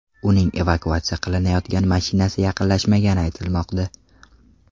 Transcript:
Uning evakuatsiya qilinayotgan mashinasiga yaqinlashmagani aytilmoqda.